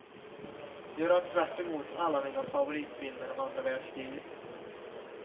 Göra tvärtemot alla mina favoritfilmer om andra världskriget.